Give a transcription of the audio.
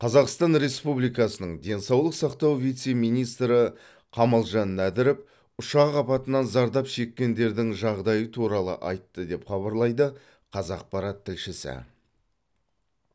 қазақстан республикасының денсаулық сақтау вице министрі қамалжан нәдіров ұшақ апатынан зардап шеккендердің жағдайы туралы айтты деп хабарлайды қазақпарат тілшісі